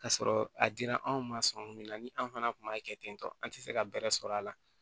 Ka sɔrɔ a dira anw ma sɔngɔ min na ni an fana kun b'a kɛ ten tɔ an tɛ se ka bɛrɛ sɔrɔ a la